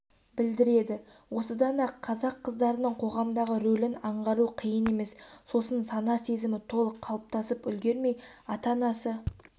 білдіреді осыдан-ақ қазақ қыздарының қоғамдағы рөлін аңғару қиын емес сосын сана-сезімі толық қалыптасып үлгермей ата-анасы